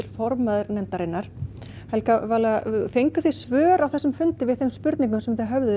formaður nefndarinnar fenguð þið svör á þessum fundi við þeim spurningum sem þið höfðuð